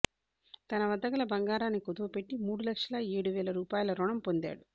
తన వద్దగల బంగారాన్ని కుదువపెట్టి మూడు లక్షల ఏడు వేల రూపాయల రుణం పొందాడు